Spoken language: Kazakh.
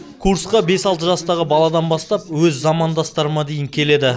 курсқа бес алты жастағы баладан бастап өз замандастарыма дейін келеді